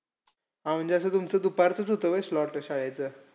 हा. म्हणजे असं तुमचं दुपारचंचं होतं व्हयं slot शाळेचं.